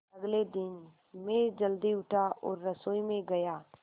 अगले दिन मैं जल्दी उठा और रसोई में गया